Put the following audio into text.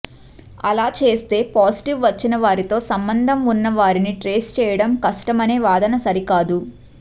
అలా చేస్తే పాజిటివ్ వచ్చినవారితో సంబంధం ఉన్నవారిని ట్రేస్ చేయడం కష్టమనే వాదన సరికాదు